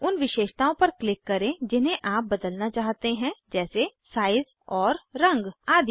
उन विशेषताओं पर क्लिक करें जिन्हे आप बदलना चाहते हैं जैसे साइज़ और रंग आदि